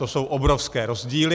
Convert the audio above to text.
To jsou obrovské rozdíly.